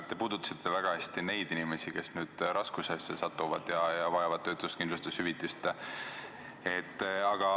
Te puudutasite väga hästi neid inimesi, kes nüüd raskustesse satuvad ja vajavad töötuskindlustushüvitist.